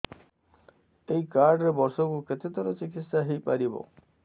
ଏଇ କାର୍ଡ ରେ ବର୍ଷକୁ କେତେ ଥର ଚିକିତ୍ସା ହେଇପାରିବ